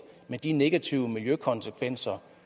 med de negative miljøkonsekvenser